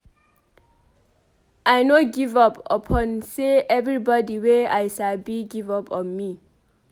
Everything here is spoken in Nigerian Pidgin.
I no give up upon sey everybodi wey I sabi give up on me.